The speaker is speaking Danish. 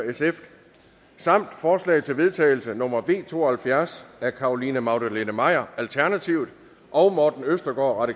samt forslag til vedtagelse nummer v to og halvfjerds af carolina magdalene maier og morten østergaard